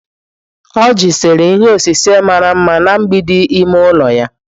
Oji sere ihe osise mara mma na mgbidi ime ụlọ ya.